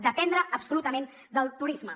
dependre absolutament del turisme